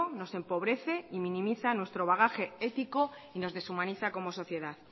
nos empobrece y minimiza nuestro bagaje ético y nos deshumaniza como sociedad